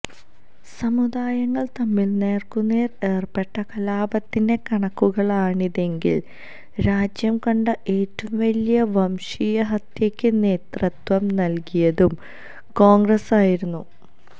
സമുദായങ്ങള് തമ്മില് നേര്ക്കുനേര് ഏര്പ്പെട്ട കലാപത്തിന്റെ കണക്കുകളാണിതെങ്കില് രാജ്യംകണ്ട ഏറ്റവും വലിയ വംശീയഹത്യയ്ക്ക് നേതൃത്വം നല്കിയതും കോണ്ഗ്രസ്സായിരുന്നു